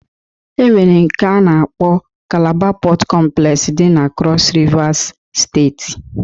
E nwere nke a na-akpọ kalaba Pọt kọmplex dị na kros Rivas steeti